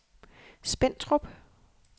Spentrup